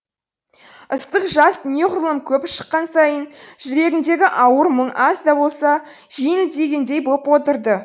ыстық жас неғұрлым көп шыққан сайын жүрегіндегі ауыр мұң аз да болса жеңілдегендей боп отырды